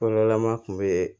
Yɔrɔlama kun bee